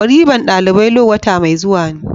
waliman dalibai law wata mai zuwa ne.